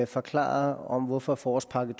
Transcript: forklare hvorfor forårspakke